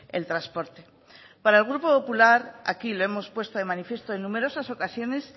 el transporte para el grupo popular aquí lo hemos puesto de manifiesto en numerosas ocasiones